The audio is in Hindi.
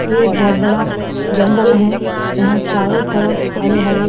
ये एक बहुत बड़ा जंगल है यहाँ चारों तरफ हरे हरे --